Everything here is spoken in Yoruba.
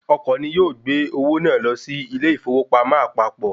Ọkọ̀ ni yóò gbé owó náà lọ sí ilé ìfowópamọ́ àpapọ̀